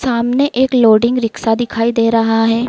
सामने एक loading rickshaw दिखाई दे रहा है।